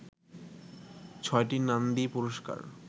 ছয়টি নান্দি পুরস্কার